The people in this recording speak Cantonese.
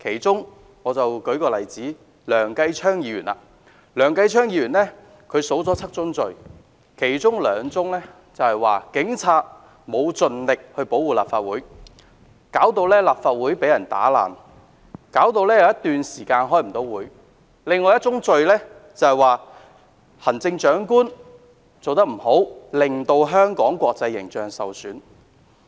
就以梁繼昌議員所列舉"七宗罪"的其中兩宗為例，其一是指控警察沒有盡力保護立法會，致使立法會遭嚴重破壞，因而有頗長一段時間無法開會；另一宗罪則指控行政長官做得不好，令香港的國際形象受損。